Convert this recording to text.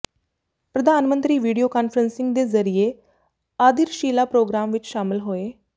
ਪ੍ਰਧਾਨਮੰਤਰੀ video conferencing ਦੇ ਜ਼ਰੀਏ ਆਧਿਰਸ਼ਿਲਾ ਪ੍ਰੋਗਰਾਮ ਵਿੱਚ ਸ਼ਾਮਲ ਹੋਏ